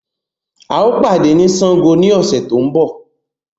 Ao pàdé ni Sángo ni ọ̀sẹ̀ tó ń bọ̀